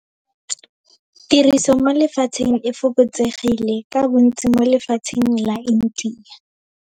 Tiriso mo lefatsheng e fokotsegile, ka bontsi mo lefatsheng la India.